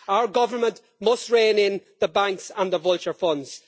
Our government must rein in the banks and the vulture funds.